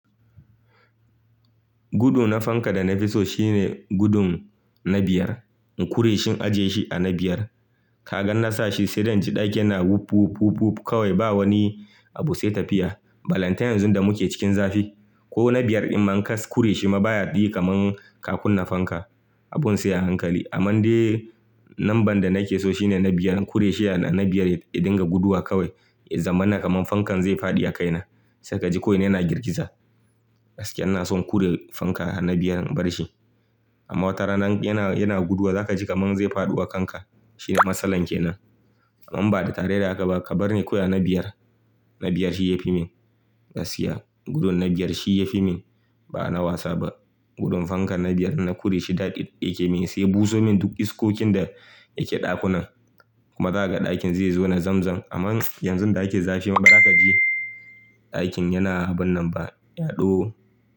Gudu na fanka da na fi so shine gudun na biyar. In kure shi in aje shi a na biyar. Kaga ina sa shi sai dai inji ɗakin na wup wup wup kawai ba wani abu sai tafiya. Balantain yanzu da muke cikin zafi. Ko na biyar in man kas kure shi ma baya diyi kamar ka kunna fanka. Abun sai a hankali. Amman dai namban da nake so shine na biyar. Kure shi a na biyar ya dinga guduwa kawai, ya zaman na kaman fankan zai faɗi a kaina. Sai ka ji ko ina yana girgiza. Gaskiya ina son kure fanka a na biyar in bar shi. Amma wata rana yana, yana guduwa za ka ji kamar zai faɗi wa kanka. Shine matsalar ke nan. Amman ba da tare da aka ba, ka bar ni koya na biyar. Na biyar shi yafi min gaskiya. Gudun na biyar shi yafi min. Ba na wasa ba. Gudun fankan na biyar na kure shi daɗi ɗake min sai ya buso min duk iskokin da yake ɗakunan. Kuma za ka ga ɗakin zai zo na zamzam. Amman yanzu da ake zafi ma bari ka ji. Ɗakin yana wannan ba. Yaɗo.